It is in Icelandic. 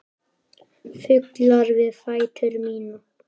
Fuglar við fætur mína.